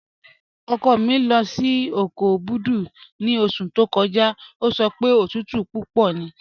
Ọkọ mi lọ sí oko Obudu ni ọṣù tó kọ́jà, o sọ pé tùtù púpọ̀ ní